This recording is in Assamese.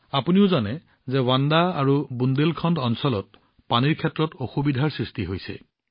আপুনিও জানে যে বান্দা আৰু বুণ্ডেলখণ্ড অঞ্চলত পানীক লৈ অসুবিধাৰ সৃষ্টি হৈছে